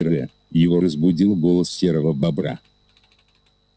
его разбудил голос серого бобра